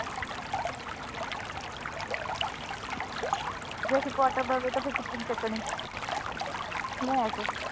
ਜੇ ਅਸੀਂ ਕੁੱਟ ਦਈਏ ਫਿਰ ਕਿਸ ਨੇ ਚੱਕਣੀ ਮੈਸ।